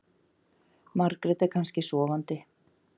Margrét er kannski sofandi.